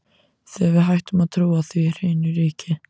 Þegar við hættum að trúa því, hrynur ríkið!